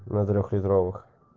два трелитровых